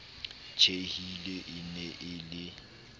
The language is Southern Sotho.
tjhehile e ne e le